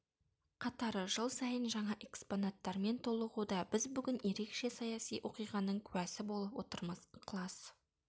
қатары жыл сайын жаңа экспонаттармен толығуда біз бүгін ерекше саяси оқиғаның куәсі болып отырмыз ықылас